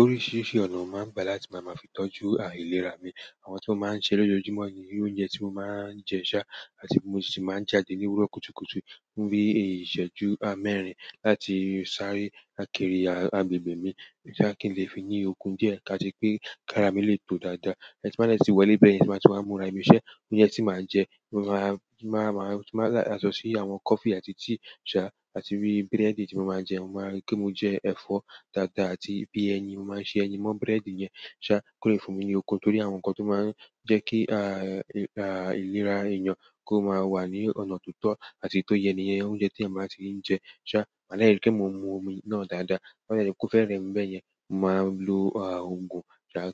Oríṣiríṣi ọ̀nà máa ń gbà láti máa máa fi tọ́jú àìlera mi. Àwọn tò máa ń ṣe lójoojúmọ́ ni irú oúnjẹ tí mo máa ń jẹ ṣá, àti mo sì ti máa ń jáde ní òwúrọ̀ kùtùkùtù fún bi ìṣẹ́jú mẹ́rin láti sáré àkérì agbègbè mi sà kí n lè fi ní okun díẹ̀ á ti pé kára mi lè tó dáadáa. Ti m bá dè tì wọlé bẹ́ẹ̀ yẹn, ẹ máa tú máa wa múra. Ìmúṣẹ oúnjẹ tí màá jẹ, mo máa máa túmọ̀ láti aṣọ sí àwọn coffee àti tea ṣá, àti bí bread ti mo máa ń jẹ, mo máa rí pé mo jẹ ẹ̀fọ́ dáadáa àti bí ẹyin, mo máa ń ṣe ẹyin mọ́ bread yẹn ṣá kó lè fún mi ní okun. Torí àwọn nǹkan tó máa ń jẹ́ kí àìlera ènìyàn kó máa wà ní ọ̀nà tó tọ́ àti tó yẹ níyẹn, oúnjẹ tí ẹ̀má tíì ń jẹ ṣá, made ri pé mo mú omi náà dáadáa. To dàbí o fe remi beyen maa lo ogun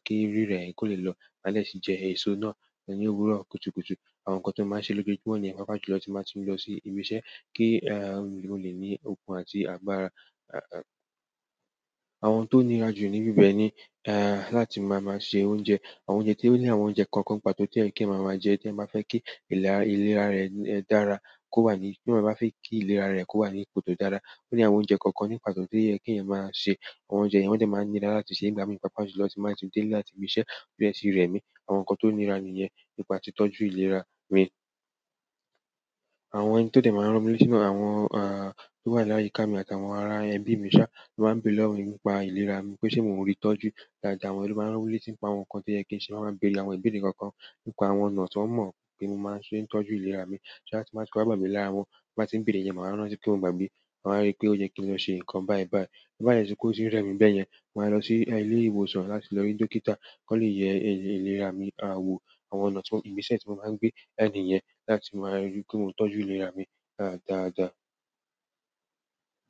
ki rire yen ko le lọ made si je eso náà ni òwúrọ̀ kùtùkùtù. Àwọn nkán ti mo maa n se lojojumo nìyẹn pàápàá jùlọ ti n ba ti lo sibi iṣẹ́ ki n le ni okun àti agbára. Àwọn tó nira jù níbi bẹ́ẹ̀ ni láti máa máa ṣe oúnjẹ. Àwọn oúnjẹ ti oni àwọn oúnjẹ kan pàtó ti o ye ki èèyàn maa maa je ti eeyan ba fe ki ìlera re dára kowa ti èeyán ba fe ki ìlera ara re kọwa ipò to dára oni àwọn oúnjẹ kàn ni pàtó to ye ki èèyàn ma se. Àwọn oúnjẹ yen wọn de maa n lera láti se nígbà mi pàápàá jùlọ ti n ba ti dele láti ibise to de ti remi. Àwọn nǹkan tó nira nìyẹn nípa tí tọ́jú ìlera mi. Àwọn ẹni tó dé máa ń rán wólé sínú àwọn tí wà láyi ká mi àti àwọn ará ẹbí mi ṣá tí wà ń bé lọ́wọ́ mi nípa ìlera mi pé ṣé mo ń rí ìtọ́jú dáadáa. Àwọn ẹbí máa ń wólé sínú, àwọn nǹkan tí ẹ kí ń ṣe máa ń bé ni àwọn ìbéèrè kọ̀ọ̀kan nípa àwọn ọ̀nà tí wọ́n mọ̀ pé mo máa ń ṣe tọ́jú ìlera mi ṣá tí màá tú bá gba ìlera wọn, bá tí ń béèrè yẹn, màá rántí pé mo gba gbe. Wọ́n máa rí pé ó yẹ kí wọ́n ṣe nǹkan bá ẹ bá ẹ. Bá lẹ̀ tiri pe o ti n rẹ mi bẹ́ẹ̀ yẹn, mo máa lọ sí ilé ìwòsàn láti lọ rí dókítà kó lè yẹ ìlera mi, àwọ̀ àwọn ọ̀nà tí igbeṣẹ́ tí mo máa ń gbé náà ni yẹn láti máa rí pé mo tọ́jú ìlera mi dáadáa.